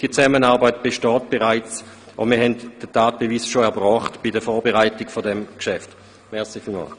Diese Zusammenarbeit besteht bereits, und wir haben den Tatbeweis dafür schon bei der Vorbereitung dieses Geschäfts erbracht.